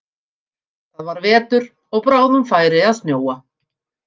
Það var vetur og bráðum færi að snjóa.